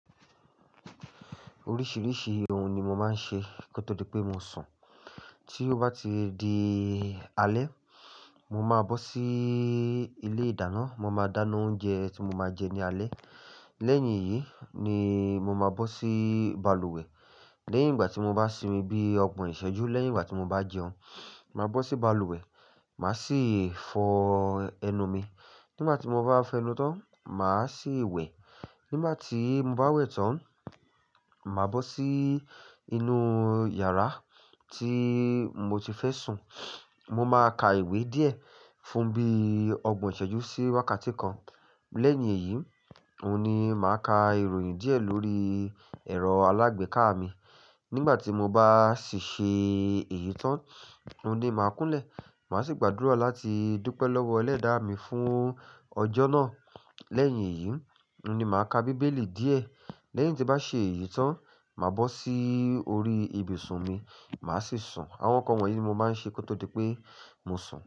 Oríṣiríṣi ohun ni mo máa ń ṣe kó tó pé mo sun. Tí ó bá ti di alẹ́, mo máa bọ́ sí ilé ìdáná, mo máa dáná oúnjẹ tí mo máa jẹ ní alẹ́. Lẹ́yìn yìí ni mo máa bọ́ sí balùwẹ̀. Lẹ́yìn ìgbà tí mo bá sinmi bí ọgbọ̀n ìṣẹ́jú, lẹ́yìn ìgbà tí mo bá jẹun, màá bọ́ sí balùwẹ̀, màá sì fọ ẹnu mi. Nígbà tí mo bá fẹnu tán, màá sì wẹ̀. Nígbà tí mo bá wẹ̀ tán, màá bọ́ sí inú yàrá tí mo ti fẹ́ sun. Mo máa ka ìwé díẹ̀ fún bí ọgbọ̀n ìṣẹ́jú sí wákàtí kan. Lẹ́yìn èyí, òun ni màá ka ìròyìn díẹ̀ lórí ẹ̀rọ alágbèéká mi. Nígbà tí mo bá sì ṣe èyí tán, òun ni màá kúnlẹ̀. Màá sì gbàdúrà láti dúpẹ́ lọ́wọ́ Ẹlẹ́da mi fún ọjọ́ náà. Lẹ́yìn yìí, òun ni màá ka bíbélì díẹ̀. Lẹ́yìn tí bá ṣe èyí tán, màá bọ́ sí orí ibùsùn mi, màá sì sun. Àwọn nǹkan wọ̀nyí ni mo máa ń ṣe kó tó di pé mo sun.